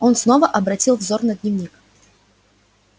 он снова обратил взор на дневник